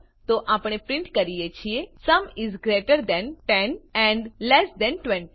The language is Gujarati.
તો આપણે પ્રીંટ કરીએ છીએ sum is greater than 10 and less than 20